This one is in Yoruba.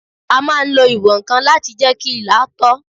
A máa n lo ìwọ̀n-ǹkan láti jẹ́ kí ilà tọ́